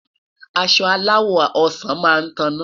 aṣọ alawọ ọsán má tana